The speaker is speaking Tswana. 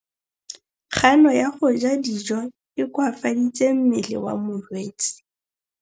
Kganô ya go ja dijo e koafaditse mmele wa molwetse.